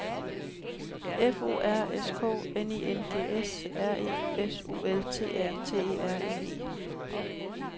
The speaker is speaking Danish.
F O R S K N I N G S R E S U L T A T E R N E